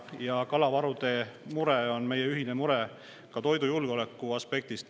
Ja kalavarude mure on meie ühine mure ka toidujulgeoleku aspektist.